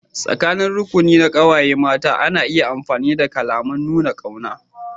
Tsakanin rukuni na ƙawaye mata ana iya amfani da kalaman nuna ƙauna.